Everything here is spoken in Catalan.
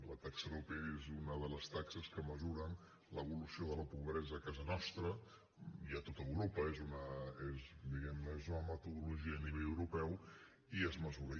la taxa arope és una de les taxes que mesuren l’evolució de la pobresa a casa nostra i a tot europa diguem ne és una metodologia a nivell europeu i es mesura